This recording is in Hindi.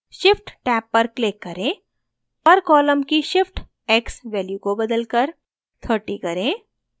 shift टैब पर click करें per column की shift x value को बदलकर 30 करें